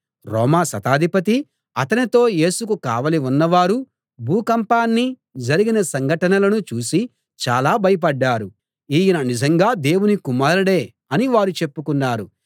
రోమా శతాధిపతి అతనితో యేసుకు కావలి ఉన్నవారు భూకంపాన్ని జరిగిన సంఘటనలను చూసి చాలా భయపడ్డారు ఈయన నిజంగా దేవుని కుమారుడే అని వారు చెప్పుకున్నారు